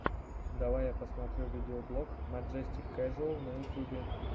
давай я посмотрю видеоблог маджестик кэжуал на ютюбе